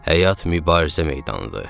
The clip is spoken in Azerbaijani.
Həyat mübarizə meydanıdır.